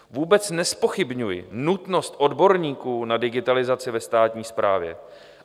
Vůbec nezpochybňuji nutnost odborníků na digitalizaci ve státní správě.